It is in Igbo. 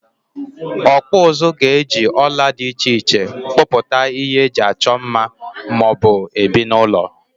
Okpu uzu ga eje ola di iche iche kpoputa ihe eji Acho mma ma o bu ebi n'ulo.